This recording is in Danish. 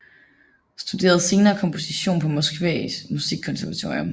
Studerede senere komposition på Moskva musikkonservatorium